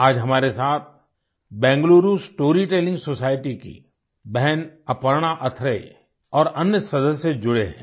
आज हमारे साथ बेंगलुरु स्टोरी टेलिंग सोसाइटी की बहन अपर्णा अथरेया और अन्य सदस्य जुड़े हैं